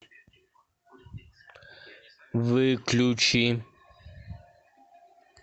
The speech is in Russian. выключи